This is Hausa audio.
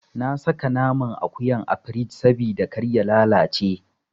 Na saka naman akuyan a firij sabida kar ya lalace.